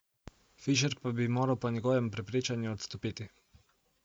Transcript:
Fišer pa bi moral po njegovem prepričanju odstopiti.